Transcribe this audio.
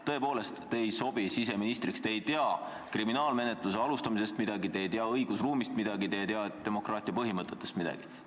Tõepoolest, te ei sobi siseministriks, te ei tea kriminaalmenetluse alustamisest midagi, te ei tea õigusruumist midagi, te ei tea demokraatia põhimõtetest midagi.